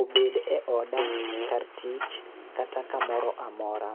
obed e oda, kar tich, kata kamoro amora.